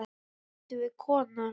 Hvað áttu við, kona?